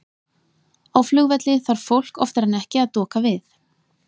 á flugvelli þarf fólk oftar en ekki að doka við